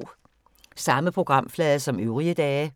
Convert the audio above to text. Samme programflade som øvrige dage